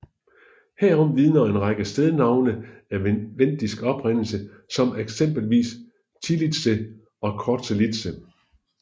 Herom vidner en række stednavne af vendisk oprindelse som eksempelvis Tillitse og Korselitse